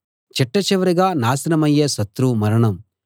చిట్ట చివరిగా నాశనమయ్యే శత్రువు మరణం